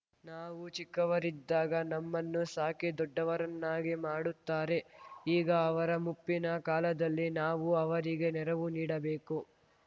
ನಾವು ಚಿಕ್ಕವರಿದ್ದಾಗ ನಮ್ಮನ್ನು ಸಾಕಿ ದೊಡ್ಡವರನ್ನಾಗಿ ಮಾಡುತ್ತಾರೆ ಈಗ ಅವರ ಮುಪ್ಪಿನ ಕಾಲದಲ್ಲಿ ನಾವು ಅವರಿಗೆ ನೆರವು ನೀಡಬೇಕು